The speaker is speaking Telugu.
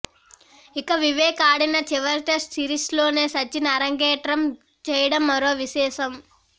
ఇక వివేక్ ఆడిన చివరిటెస్టు సిరీస్లోనే సచిన్ అరంగేట్రం చేయడం మరో విశేషం